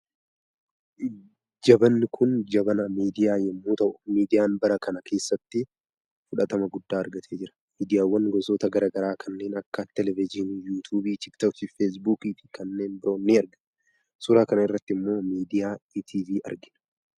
Jabanni kun jabana miidiyaa yommuu ta'u miidiyaan bara kana keessatti fydhatama guddaa argatee jira. Miidiyaawwan gosoota gara garaa kanneen akka televizyiinii, yuutuubii, tiiktookii, feesbuukii fi kanneen biroon ni argamu. Suuraa kanarratti immoo miidiyaa ETV argina.